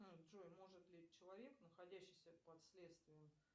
джой может ли человек находящийся под следствием